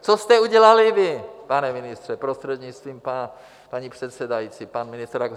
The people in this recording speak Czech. Co jste udělali vy, pane ministře, prostřednictvím paní předsedající, pan ministr Rak...